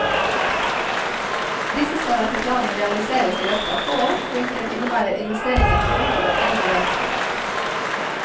Disse skal etter planen realiseres i løpet av få år, hvilket innebærer investeringer på godt over én milliard kroner.